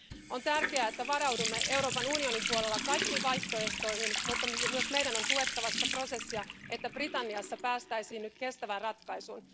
On tärkeää, että varaudumme Euroopan unionin puolella kaikkiin vaihtoehtoihin, mutta myös meidän on tuettava sitä prosessia, että Britanniassa päästäisiin nyt kestävään ratkaisuun.